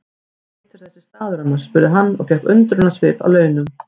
Hvað heitir þessi staður annars? spurði hann og fékk undrunarsvip að launum.